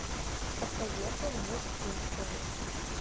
посоветуй мне симпсоны